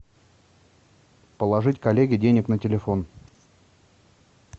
положить коллеге денег на телефон